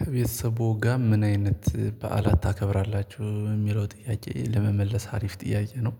ከቤተሰብዎ ጋር ምን አይነት በዓላት ታከብራላችሁ የሚለው ጥያቄ ለመመለስ አሪፍ ጥያቄ ነው?